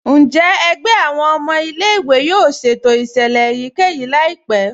Njẹ́ ègbẹ̀ awọn ọmọ ilẹ̀-ìwé yóò ṣétò iṣẹ́lẹ̀ èyíkẹ́yí laípẹ̀?